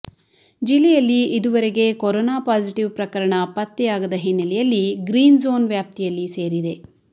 ಜಿಲ್ಲೆಯಲ್ಲಿ ಇದುವರೆಗೆ corona positive ಪ್ರಕರಣ ಪತ್ತೆಯಾಗದ ಹಿನ್ನೆಲೆಯಲ್ಲಿ ಗ್ರೀನ್ಝೋನ್ ವ್ಯಾಪ್ತಿಯಲ್ಲಿ ಸೇರಿದೆ